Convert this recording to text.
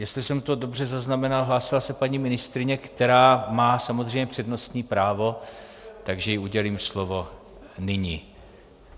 Jestli jsem to dobře zaznamenal, hlásila se paní ministryně, která má samozřejmě přednostní právo, takže jí udělím slovo nyní.